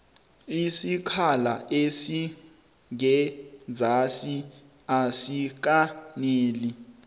isikhala esingenzasi asikaneli